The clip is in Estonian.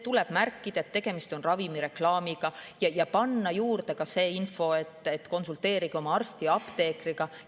Tuleb märkida, et tegemist on ravimireklaamiga, ja panna juurde ka info, et konsulteerige oma arsti või apteekriga.